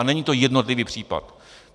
A není to jednotlivý případ.